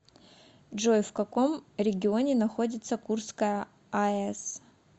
джой в каком регионе находится курская аэс